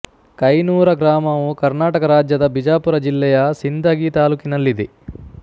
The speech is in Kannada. ಕೈನೂರ ಗ್ರಾಮವು ಕರ್ನಾಟಕ ರಾಜ್ಯದ ಬಿಜಾಪುರ ಜಿಲ್ಲೆಯ ಸಿಂದಗಿ ತಾಲ್ಲೂಕಿನಲ್ಲಿದೆ